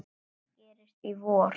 Hvað gerist í vor?